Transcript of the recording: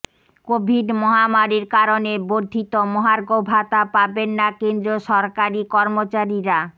Covid মহামারির কারণে বর্ধিত মহার্ঘ ভাতা পাবেন না কেন্দ্রীয় সরকারি কর্মচারীরা